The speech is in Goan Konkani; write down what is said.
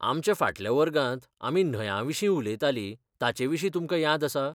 आमच्या फाटल्या वर्गांत आमी न्हंयांविशीं उलयतालीं ताचेविशीं तुमकां याद आसा?